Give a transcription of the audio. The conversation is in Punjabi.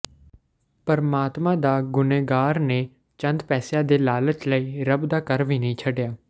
ਪਰਮਾਤਮਾ ਦਾ ਗੁਨ੍ਹੇਗਾਰ ਨੇ ਚੰਦ ਪੈਸਿਆਂ ਦੇ ਲਾਲਚ ਲਈ ਰੱਬ ਦਾ ਘਰ ਵੀ ਨਹੀਂ ਛੱਡਿਆ